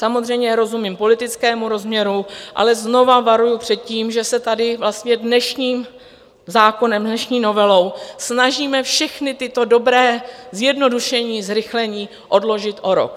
Samozřejmě rozumím politickému rozměru, ale znovu varuji před tím, že se tady vlastně dnešním zákonem, dnešní novelou snažíme všechna tato dobrá zjednodušení, zrychlení odložit o rok.